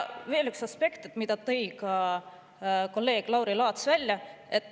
Veel üks aspekt, mille tõi välja ka kolleeg Lauri Laats.